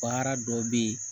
Baara dɔ bɛ ye